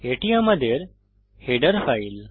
এটি আমাদের header file